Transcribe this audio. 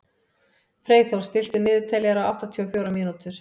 Freyþór, stilltu niðurteljara á áttatíu og fjórar mínútur.